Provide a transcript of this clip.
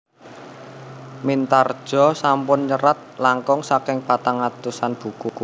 Mintardja sampun nyerat langkung saking patang atusan buku